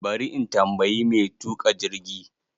Ba ri in tambayi mai tuƙa jirgi.